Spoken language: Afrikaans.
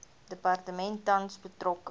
departement tans betrokke